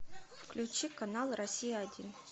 включи канал россия один